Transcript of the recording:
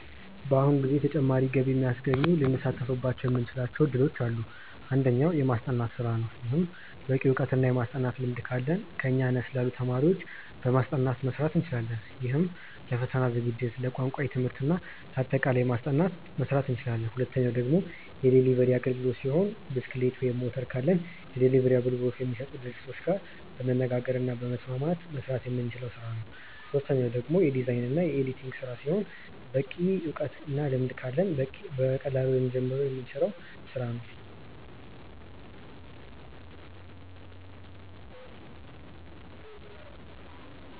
በአሁኑ ጊዜ ተጨማሪ ገቢ የሚያስገኙ ልንሳተፍባቸው የምንችላቸው እድሎች አሉ። አንደኛው። የማስጠናት ስራ ነው። ይህም በቂ እውቀት እና የማስጠናት ልምድ ካለን ከኛ አነስ ላሉ ተማሪዎች በማስጠናት መስራት እንችላለን። ይህም ለፈተና ዝግጅት፣ ለቋንቋ ትምህርት እና ለአጠቃላይ ማስጠናት መስራት እንችላለን። ሁለተኛው ደግሞ የዴሊቨሪ አግልግሎት ሲሆን ብስክሌት ወይም ሞተር ካለን የዴሊቨሪ አገልግሎት ከሚሰጡ ድርጅቶች ጋር በመነጋገር እና በመስማማት መስራት የምንችለው ስራ ነው። ሶስተኛው ደግሞ የዲዛይን እና የኤዲቲንግ ስራ ሲሆን በቂ እውቀት እና ልምድ ካለን በቀላሉ ልንጀምረው የምንችለው ስራ ነው።